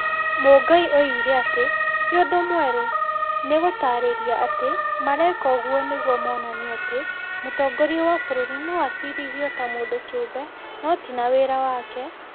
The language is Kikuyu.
Mũngai oigire atĩ ti ũndũ mwerũ, nĩ gũtaarĩria atĩ mareka ũguo nĩguo monanie atĩ mũtongoria wa bũrũri no acirithio ta mũndũ kĩũmbe no ti na wĩra wake,